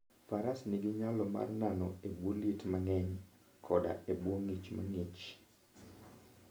Faras nigi nyalo mar nano e bwo liet mang'eny koda e bwo ng'ich mang'ich.